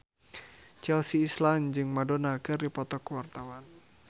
Chelsea Islan jeung Madonna keur dipoto ku wartawan